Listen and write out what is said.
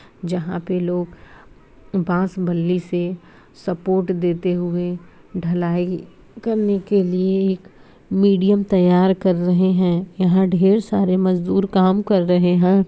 जहां पे लोग बांस बल्ली से सपोर्ट देते हुए ढलाई करने हुए मीडियम तैयार कर रहे हैं यहाँ ढेर सारे मजदूर काम कर रहे हैं।